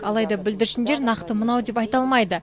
алайда бүлдіршіндер нақты мынау деп айта алмайды